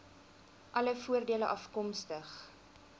alle voordele afkomstig